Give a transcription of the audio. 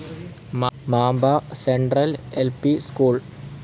Mamba central L P school